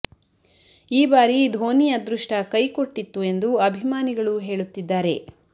ಈ ಬಾರಿ ಧೋನಿ ಅದೃಷ್ಟ ಕೈ ಕೊಟ್ಟಿತ್ತು ಎಂದು ಅಭಿಮಾನಿಗಳು ಹೇಳುತ್ತಿದ್ದಾರೆ